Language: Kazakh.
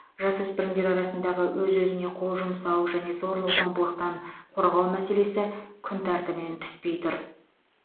жасөспірімдер арасындағы өз өзіне қол жұмсау және зорлық зомбылықтан қорғау мәселесі күн тәртібінен түспей тұр